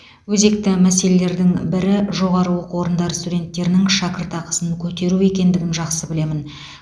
өзекті мәселелердің бірі жоғары оқу орындары студенттерінің шәкіртақысын көтеру екендігін жақсы білемін